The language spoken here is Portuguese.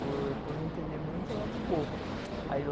Por por não entender muito, eu lembro pouco.